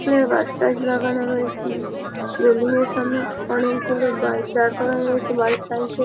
ফুলের গাছ টাস লাগানো রয়েছে। রেলিংয়ের সামনে অনেকগুলো বাইক দাঁড় করানো রয়েছে। Bike cycle --